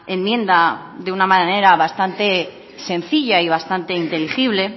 enmienda de una manera bastante sencilla y bastante inteligible